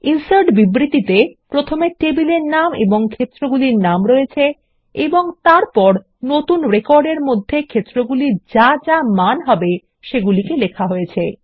insert বিবৃতিতে টেবিলের নাম ও ক্ষেত্রগুলির নাম রয়েছে এবং তারপর নতুন রেকর্ড এর মধ্যে ক্ষেত্রগুলির যা যা মান হবে সেগুলিকে তালিকাবদ্ধ করা হয়েছে